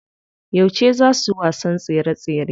Yauce zaa su wasan tsere tsere?